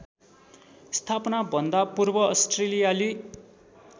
स्थापनाभन्दा पूर्व अस्ट्रेलियाली